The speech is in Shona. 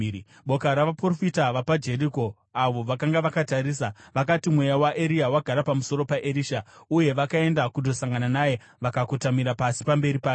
Boka ravaprofita vapaJeriko, avo vakanga vakatarisa, vakati, “Mweya waEria wagara pamusoro paErisha.” Uye vakaenda kundosangana naye vakakotamira pasi pamberi pake.